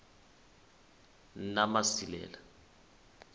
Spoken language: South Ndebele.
namasilela